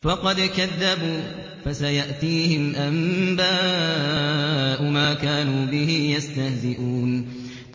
فَقَدْ كَذَّبُوا فَسَيَأْتِيهِمْ أَنبَاءُ مَا كَانُوا بِهِ يَسْتَهْزِئُونَ